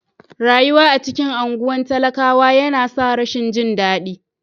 Rayuwa a cikin anguwan talakawa yana sa rashin jin dadi.